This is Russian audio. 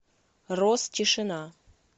роз тишина